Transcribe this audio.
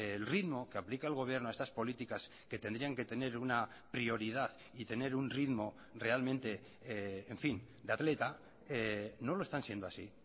el ritmo que aplica el gobierno a estas políticas que tendrían que tener una prioridad y tener un ritmo realmente en fin de atleta no lo están siendo así